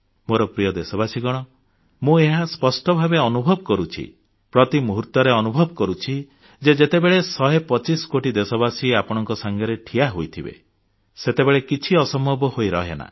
ମୋର ପ୍ରିୟ ଦେଶବାସୀଗଣ ମୁଁ ଏହା ସ୍ପଷ୍ଟ ଭାବେ ଅନୁଭବ କରୁଛି ପ୍ରତି ମୁହୂର୍ତ୍ତରେ ଅନୁଭବ କରୁଛି ଯେ ଯେତେବେଳେ ଶହେ ପଚିଶ କୋଟି ଦେଶବାସୀ ଆପଣଙ୍କ ସାଙ୍ଗରେ ଠିଆହୋଇଥିବେ ସେତେବେଳେ କିଛି ଅସମ୍ଭବ ହୋଇ ରହେନା